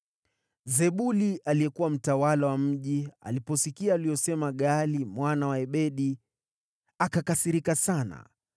Zebuli aliyekuwa mtawala wa mji aliposikia aliyosema Gaali mwana wa Ebedi, akakasirika sana.